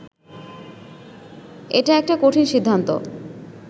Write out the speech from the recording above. এটা একটা কঠিন সিদ্ধান্ত